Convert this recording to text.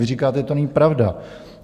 Vy říkáte, že to není pravda.